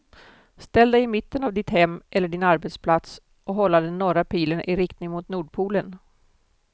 Ställ dig i mitten av ditt hem eller din arbetsplats och hålla den norra pilen i riktning mot nordpolen.